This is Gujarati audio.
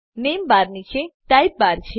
નેમ બાર નીચે ટાઈપ બાર છે